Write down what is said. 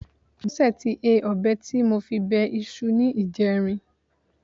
Bọ́sẹ̀ ti he ọ̀bẹ tí mo fi bẹ iṣu ní ìjẹrin.